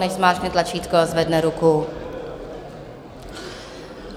Nechť zmáčkne tlačítko a zvedne ruku.